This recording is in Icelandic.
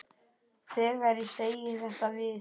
Þegar ég segi þetta við